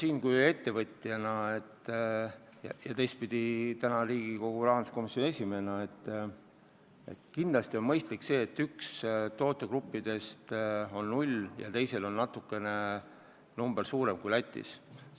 Ma ütlen ettevõtjana ja teistpidi Riigikogu rahanduskomisjoni esimehena, et kindlasti on mõistlik, et ühel tootegruppidest on hinnavahe null ja teisel on meie hind natukene kõrgem kui Lätis.